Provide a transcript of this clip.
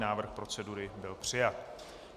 Návrh procedury byl přijat.